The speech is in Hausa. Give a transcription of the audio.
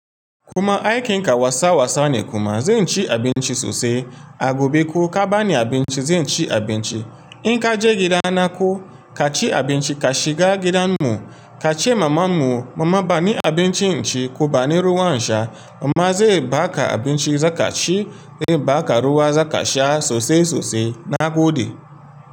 Kuma aikin ka wasa wasa ne kuma zan ci abinci sosai. Abu bi ki ka bani abinci zai ci abinci. In ka je gidan nako ka ci abinci ka shiga gidan mu ka ce maman mu mama bani abinci in ci ku bani ruwan sha. Mama zai baka abinci za ka ci, zai baka ruwa za ka sha sosai sosai na gode.